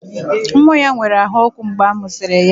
Nwa ya nwere ahụ ọkụ mgbe a mụsịrị ya